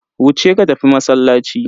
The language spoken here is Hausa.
Wuce ka tafi masallaci.